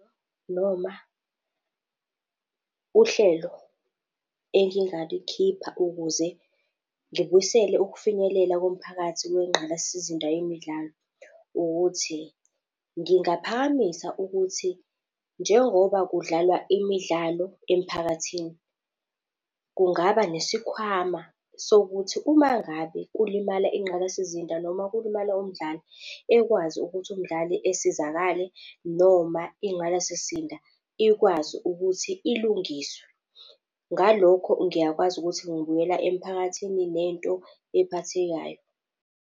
noma uhlelo engingalikhipha ukuze ngibuyisele ukufinyelela komphakathi kwengqalasizinda yemidlalo ukuthi, ngingaphakamisa ukuthi njengoba kudlalwa imidlalo emphakathini, kungaba nesikhwama sokuthi uma ngabe kulimala inqalasizinda, noma kulimala umdlali ekwazi ukuthi umdlali esizakale noma ingqalasizinda ikwazi ukuthi ilungiswe. Ngalokho, ngiyakwazi ukuthi ngibuyela emphakathini nento ephathekayo.